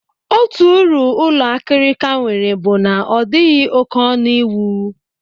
Otu uru ụlọ akịrịka nwere bụ na ọ dịghị oké ọnụ iwu